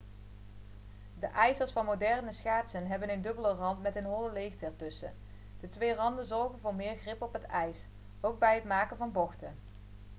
de ijzers van moderne schaatsen hebben een dubbele rand met een holle leegte ertussen de twee randen zorgen voor meer grip op het ijs ook bij het maken van bochten